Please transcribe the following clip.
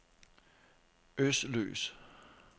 Øsløs